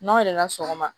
N'aw yɛrɛ la sɔgɔma